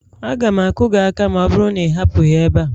Aga m akụ gị aka ma ọ bụrụ na ị hapụghị ebe a